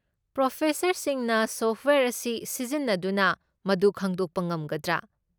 ꯄ꯭ꯔꯣꯐꯦꯁꯔꯁꯤꯡꯅ software ꯑꯁꯤ ꯁꯤꯖꯤꯟꯅꯗꯨꯅ ꯃꯗꯨ ꯈꯪꯗꯣꯛꯄ ꯉꯝꯒꯗ꯭ꯔꯥ?